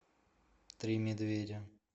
три медведя